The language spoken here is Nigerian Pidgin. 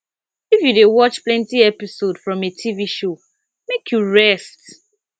if you dey watch plenty episode from a tv show make you rest